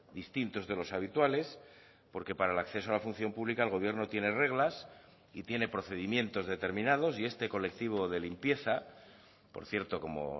distintos de los habituales porque para el acceso a la función pública el gobierno tiene reglas y tiene procedimientos determinados y este colectivo de limpieza por cierto como